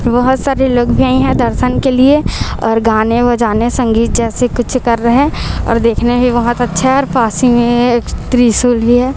बहोत सारे लोग भी हैं यहां दर्शन के लिए और गाने बजाने संगीत जैसे कुछ कर रहें और देखने ही बहोत अच्छा है और पास ही में एक त्रिशूल भी है।